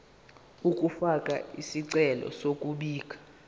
ukufaka isicelo sokubika